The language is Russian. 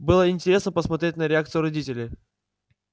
было интересно посмотреть на реакцию родителей